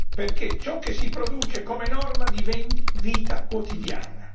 perché ciò che si produce come norma diventi vita quotidiana.